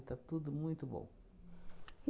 E está tudo muito bom.